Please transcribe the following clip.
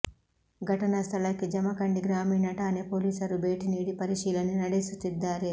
ಘಟನಾ ಸ್ಥಳಕ್ಕೆ ಜಮಖಂಡಿ ಗ್ರಾಮೀಣ ಠಾಣೆ ಪೊಲೀಸರು ಭೇಟಿ ನೀಡಿ ಪರಿಶೀಲನೆ ನಡೆಸುತ್ತಿದ್ದಾರೆ